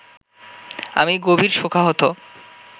আমি গভীর শোকাহত